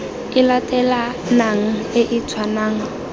e latelanang e e tshwanang